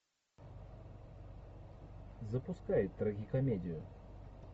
запускай трагикомедию